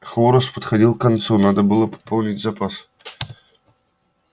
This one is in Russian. хворост подходил к концу надо было пополнить запас